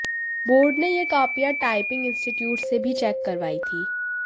board ने यह कॉपियां टायपिंग इंस्टीट्यूट से भी चैक करवाई थी